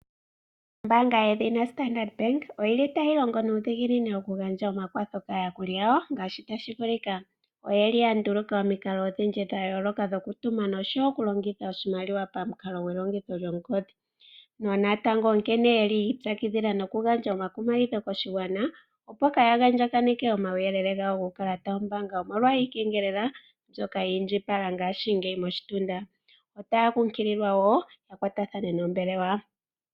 Ombaanga yedhina Standard oyili tayi longo nuudhiginini oku gandja omakwatho kaayakulwa yawo ngaashi tashi vulika oyeli yanduluka omikalo odhindji okutuma oshimaliwa pamukalo gongodhi natango onkene yeli noku gandja oyeli yi ipyakidhila noku gandja koshigwana omolwa iikengelela mbyoka ya andjakana moshitunda. Otaya kunkililwa woo yakwatathane nombelewa.